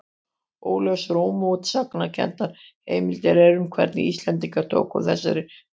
Óljósar og mótsagnakenndar heimildir eru um hvernig Íslendingar tóku þessari nýjung.